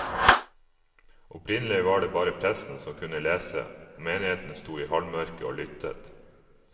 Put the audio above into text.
Opprinnelig var det bare presten som kunne lese, og menigheten sto i halvmørke og lyttet.